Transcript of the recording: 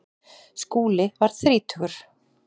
Skúli varð þrítugur.